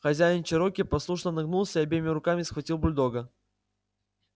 хозяин чероки послушно нагнулся и обеими руками схватил бульдога